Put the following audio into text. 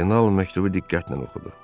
Kardinal məktubu diqqətlə oxudu.